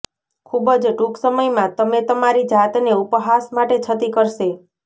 ખૂબ જ ટૂંક સમયમાં તમે તમારી જાતને ઉપહાસ માટે છતી કરશે